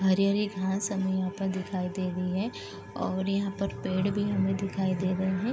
हरी-हरी घांस हमें यहाँ पर दिखाई दे रही है और यहाँ पर पेड़ भी हमें दिखाई दे रहे हैं।